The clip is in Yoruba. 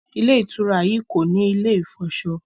Ilé-ìtura yí kọ ní ilè ifọṣọ